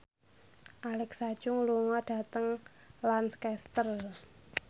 Alexa Chung lunga dhateng Lancaster